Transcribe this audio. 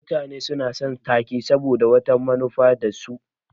Mutane suna son ta-ke saboda wata manufa tasu.